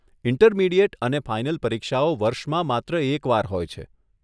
Intermediate અને final પરીક્ષાઓ વર્ષમાં માત્ર એક વાર હોય છે.